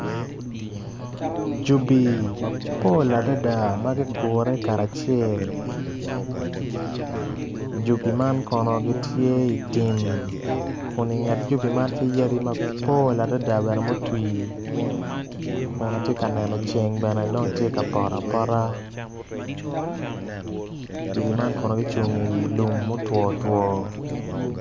Jubi mapol adada ma gugure kacel jubi man kono gitye i tim kun i nget gudi man tye yadi mapol ma gutii kun atye ka neno ceng bene tye ka poto pota jubi man kono gucung i wi lum ma otwotwo.